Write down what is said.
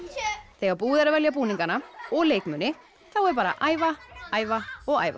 þegar búið er að velja búningana og leikmuni þá er bara að æfa æfa og æfa